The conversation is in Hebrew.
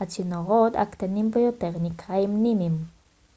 הצינורות הקטנים ביותר נקראים נימים